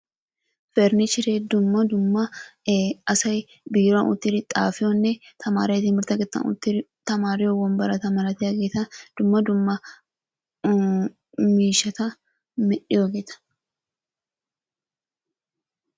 Paranichre dumma dumma asay biiruwan uttidi xaafiyonne tamaareti timirtte keettan uttidi tamaariyo wombbarata malatiyaageeta malatiyageeta, dumma dumma miishshata medhdhiyoogeeta.